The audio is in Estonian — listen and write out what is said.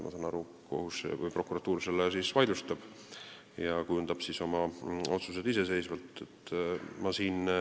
Ma olen aru saanud, et prokuratuur selle kohtuniku otsuse vaidlustab ja kujundab oma otsused iseseisvalt.